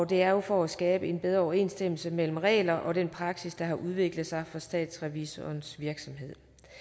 det er jo for at skabe en bedre overensstemmelse mellem regler og den praksis der har udviklet sig for statsrevisorernes virksomhed